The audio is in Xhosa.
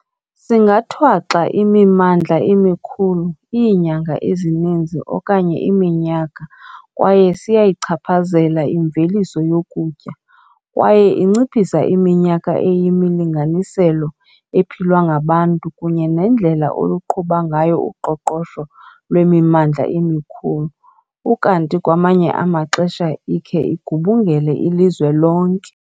Singathwaxa imimmandla emikhulu iinyanga ezininzi okanye iminyaka kwaye siyayichaphazela imveliso yokutya, kwaye inciphisa iminyaka eyimilinganiselo ephilwa ngabantu kunye nendlela oluqhuba ngayo uqoqosho lwemimmandla emikhulu ukanti kwamanye amaxesha ikhe igubungele ilizwe lonke.